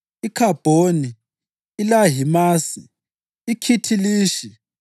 iKhabhoni, iLahimasi, iKhithilishi